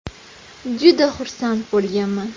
Juda xursand bo‘lganman.